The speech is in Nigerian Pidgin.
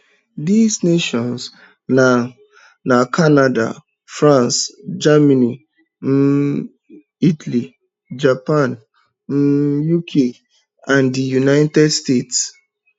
dis nations na na canada france germany um italy japan um uk and di united states